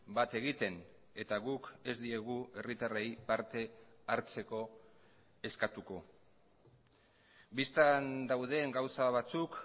bat egiten eta guk ez diegu herritarrei parte hartzeko eskatuko bistan dauden gauza batzuk